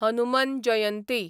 Hanuman Jayanti